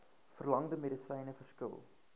verlangde medisyne verskil